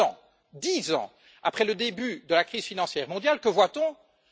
Dix ans après le début de la crise financière mondiale, que voyons nous?